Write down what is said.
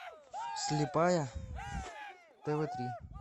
слепая тв три